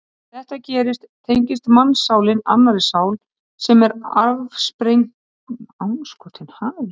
Þegar þetta gerist tengist mannssálin annarri sál sem er afsprengi heimssálarinnar eins og áður segir.